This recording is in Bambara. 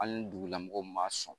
Hali ni dugulamɔgɔw ma sɔn